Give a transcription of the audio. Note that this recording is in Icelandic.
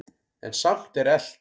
En samt er elt.